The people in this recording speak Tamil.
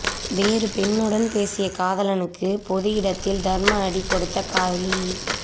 வேறு பெண்ணுடன் பேசிய காதலனுக்கு பொது இடத்தில் தர்ம அடி கொடுத்த காதலி